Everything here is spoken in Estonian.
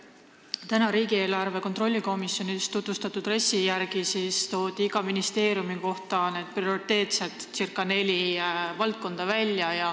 Täna tutvustati riigieelarve kontrolli erikomisjonis RES-i, kus toodi iga ministeeriumi kohta välja ca neli prioriteetset valdkonda.